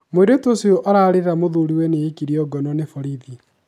mũirĩtu ũcio ararĩra muthuriwe nĩ aĩkĩo ngono nĩ borĩthi